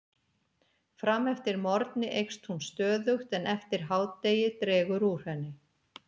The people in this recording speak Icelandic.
Fram eftir morgni eykst hún stöðugt en eftir hádegi dregur úr henni.